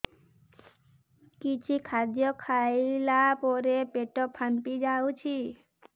କିଛି ଖାଦ୍ୟ ଖାଇଲା ପରେ ପେଟ ଫାମ୍ପି ଯାଉଛି